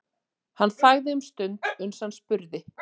Hann þagði um stund uns hann spurði